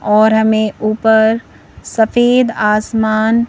और हमें ऊपर सफेद आसमान--